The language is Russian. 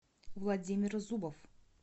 владимир зубов